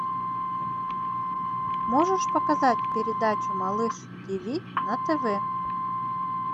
можешь показать передачу малыш тиви на тв